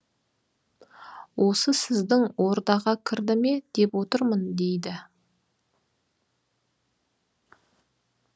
осы сіздің ордаға кірді ме деп отырмын дейді